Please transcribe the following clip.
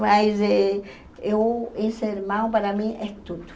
Mas e eu esse irmão, para mim, é tudo.